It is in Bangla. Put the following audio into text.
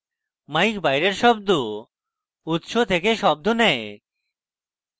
mic বাইরের শব্দ উৎস থেকে শব্দ নেয়